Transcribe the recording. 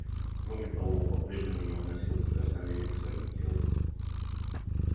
кроме того он по прежнему не выносил прикосновения к своему телу